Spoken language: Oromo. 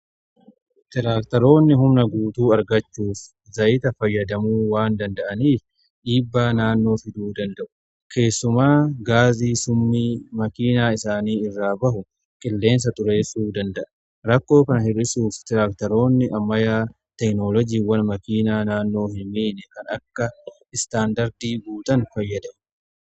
tiraaktaroonni humna guutuu argachuuf zayita fayyadamuu waan danda'aaniif dhiibbaa naannoo fiduu danda'u. keessumaa gaazii summii makiinaa isaanii irraa ba'u qilleensa xureessuu danda'a. rakkoo kana hir'isuuf tiraaktaroonni ammayyaa teeknoolojiiwwan makiinaa naannoo hin miine kan akka istaandardii guutan fayyadamuu qabu.